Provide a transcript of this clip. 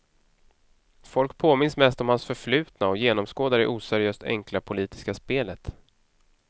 Folk påminns mest om hans förflutna och genomskådar det oseriöst enkla politiska spelet.